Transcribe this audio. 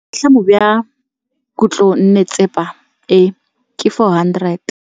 Boatlhamô jwa khutlonnetsepa e, ke 400.